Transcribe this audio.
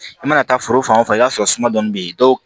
I mana taa foro fan o fan i b'a sɔrɔ suma dɔɔnin be yen dɔw